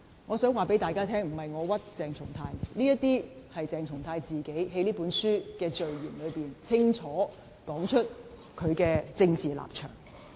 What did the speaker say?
"我想告訴大家，不是我誣衊鄭松泰，是鄭松泰自己在這書的序言中，清楚說明他的政治立場。